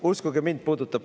Uskuge mind, puudutab.